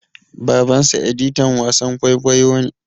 Babansa editan wasan kwaikwayo ne.